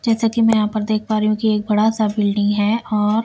जैसे कि मैं यहां पर देख पा रही हूं कि एक बड़ा सा बिल्डिंग है और--